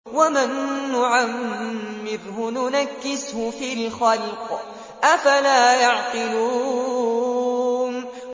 وَمَن نُّعَمِّرْهُ نُنَكِّسْهُ فِي الْخَلْقِ ۖ أَفَلَا يَعْقِلُونَ